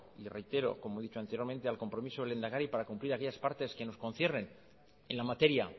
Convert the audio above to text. y le reitero como he dicho anteriormente al compromiso del lehendakari para cumplir aquellas partes que nos conciernen en la materia